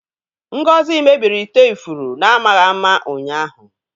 Ngozi mebiri ite ifuru n'amaghị ama ụnyaahụ.